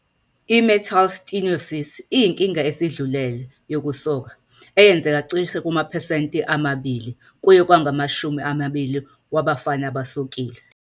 I-Meatal stenosis iyinkinga esedlulile yokusoka, eyenzeka cishe kumaphesenti ama-2 kuye kwangama-20 wabafana abasokile.